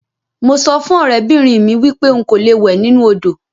Mo so fun orebinrin mi wipe nko lo we ninu odo.